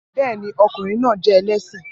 Bẹ́ẹ̀ ni, ọkùnrin náà jẹ́ ẹlẹ́sìn